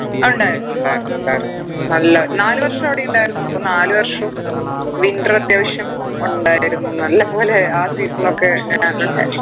അഹ് ഉണ്ടായിരുന്നു ഉണ്ടായിരുന്നു ഉണ്ടായിരുന്നു നല്ല നാല് വർഷം അവിടെ ഉണ്ടായിരുന്നു അപ്പൊ നാല് വർഷവും winter അത്യാവശ്യം ഒണ്ടായിരുന്നു നല്ല പോലെ ആ season ഒക്കെ ഞാൻ